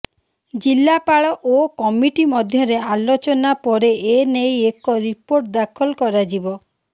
ଜିଲ୍ଲାପାଳ ଓ କମିଟି ମଧ୍ୟରେ ଆଲୋଚନା ପରେ ଏ ନେଇ ଏକ ରିପୋର୍ଟ ଦାଖଲ କରାଯିବ